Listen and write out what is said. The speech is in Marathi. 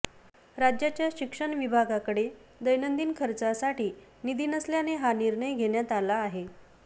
राज्याच्या शिक्षण विभागाकडे दैनंदिन खर्चासाठी निधी नसल्याने हा निर्णय घेण्यात आला आहे